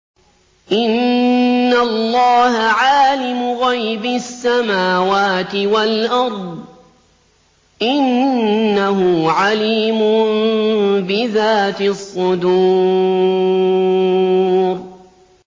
إِنَّ اللَّهَ عَالِمُ غَيْبِ السَّمَاوَاتِ وَالْأَرْضِ ۚ إِنَّهُ عَلِيمٌ بِذَاتِ الصُّدُورِ